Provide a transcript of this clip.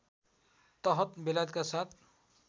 तहत बेलायतका साथ